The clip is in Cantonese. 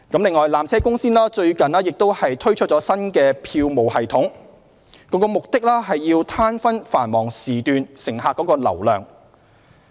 此外，纜車公司最近剛推出新的票務系統，旨在攤分繁忙時段乘客流量。